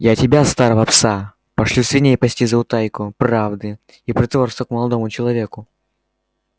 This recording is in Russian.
я тебя старого пса пошлю свиней пасти за утайку правды и потворство к молодому человеку